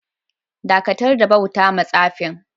Dakatar da bauta ma tsafin!